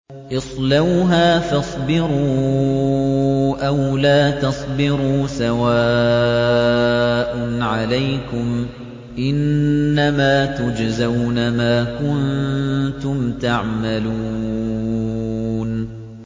اصْلَوْهَا فَاصْبِرُوا أَوْ لَا تَصْبِرُوا سَوَاءٌ عَلَيْكُمْ ۖ إِنَّمَا تُجْزَوْنَ مَا كُنتُمْ تَعْمَلُونَ